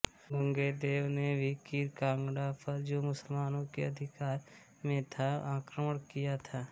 गांगेयदेव ने भी कीर काँगड़ा पर जो मुसलमानों के अधिकार में था आक्रमण किया था